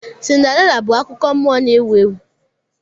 Cinderella bụ akụkọ nmụọ na-ewu ewu.